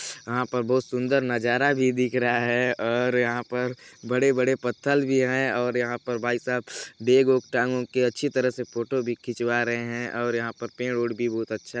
यहाँ पर बहुत सुन्दर नजारा भी दिख रहा है और यहाँ पर बड़े बड़े पत्तल भी है और यहाँ पर भाईसाब बेग वेग टांग वांग के अच्छी तरह से फोटो भी खिचवा रहे है और यहाँ पर पेड़ वेड़ भी बहुत अच्छा --